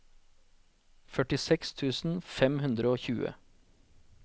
førtiseks tusen fem hundre og tjue